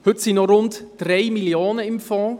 Heute sind noch rund 3 Mio. Franken im Fonds;